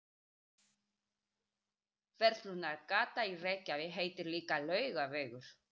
Verslunargatan í Reykjavík heitir líka Laugavegur.